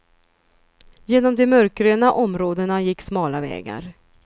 Genom de mörkgröna områdena gick smala vägar.